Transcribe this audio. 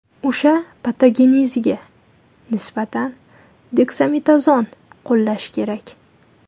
O‘sha patogeneziga nisbatan deksametazon qo‘llash kerak.